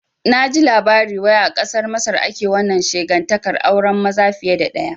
Naji labari wai a kasar Masar ake wannan shegantaƙar auren maza fiye da ɗaya